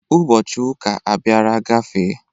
Ụbọchị ụka abiara gafee.